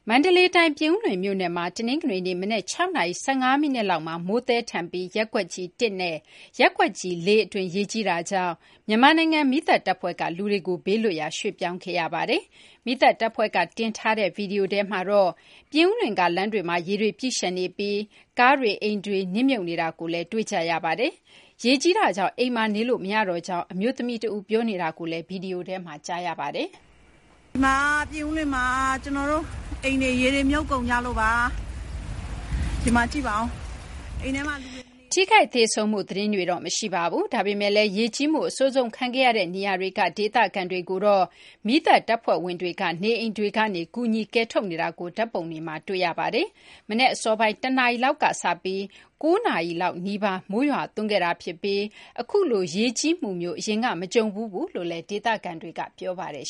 မန္တလေးတိုင်း ပြင်ဦးလွင် မြို့နယ်မှာ တနင်္ဂနွေနေ့ မနက် ၆ နာရီ ၁၅ မိနစ်လောက်မှာ မိုးသည်ထန်ပြီး ရပ်ကွက်ကြီး ၁ နဲ့ ရပ်ကွက်ကြီး ၄ အတွင်း ရေကြီးတာကြောင့် မြန်မာနိုင်ငံ မီးသတ်တပ်ဖွဲ့က လူတွေကို ဘေးလွတ်ရာ ရွှေ့ပြောင်းပေးခဲ့ပါတယ်။ မီးသတ်တပ်ဖွဲ့က တင်ထားတဲ့ ဗွီဒီယိုထဲမှာတော့ ပြင်ဦးလွင်က လမ်းတွေမှာ ရေတွေ ပြည့်လျှံနေပြီး ကားတွေ အိမ်တွေ နစ်မြုပ်နေတာကိုလည်း တွေ့ကြရပါတယ်။ ရေကြီးတာကြောင့် အိမ်မှာ နေလို့ မရတော့ကြောင်း အမျိုးသမီး တဦးက ပြောဆိုနေတာကိုလည်း ဗွီဒီယိုထဲမှာ ကြားကြရပါတယ်။ " ဒီမှာ ပြင်ဦးလွင်မှာ ရေတွေ မြုပ်ကုန်ကြလို့ပါ။ " ထိခိုက် သေဆုံးမှု သတင်းတွေတော့ မရှိပါဘူး။ ဒါပေမယ့်လည်း ရေကြီးမှု အဆိုးဆုံး ခံရတဲ့ နေရာတွေက ဒေသခံတွေကိုတော့ မြန်မာနိုင်ငံ မီးသတ်တပ်ဖွဲ့ဝင်တွေ နေအိမ်တွေကနေ ကူညီ ကယ်ထုတ်နေတာကို ဓာတ်ပုံတွေမှာတွေ့ ရပါတယ်။ မနက် အစောပိုင်း ၁ နာရီလောက်က စပြီး ၉ နာရီ နီးပါး မိုးရွာသွန်းခဲ့တာ ဖြစ်ပြီး အခုလို ရေကြီးမှုမျိုး အရင်က မကြုံဖူးကြောင်းလည်း ဒေသခံတွေက ပြောပါတယ်